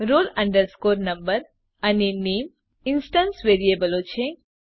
roll number અને નામે instance વેરીએબલો છે